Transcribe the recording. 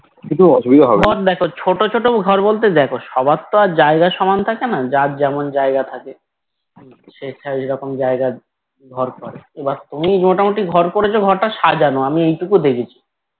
কিন্তু অসুবিধা হবেনা